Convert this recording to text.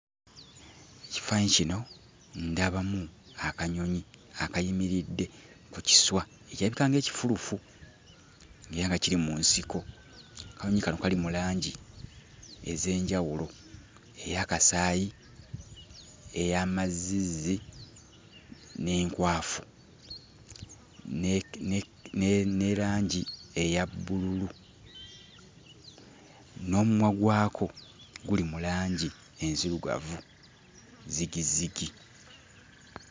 Mu kifaananyi kino ndabamu akanyonyi akayimiridde ku kiswa ekirabika ng'ekifulufu ng'era nga kiri mu nsiko. Akanyonyi kano kali mu langi ez'enjawulo: eya kasaayi ey'amazzizzi n'enkwafu ne ne langi eya bbululu, n'omumwa gwako guli mu langi enzirugavu zzigizzigi.